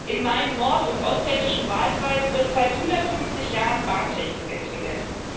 In meinem nord und osthessischen Wahlkreis wird seit 150 Jahren Bahntechnik entwickelt.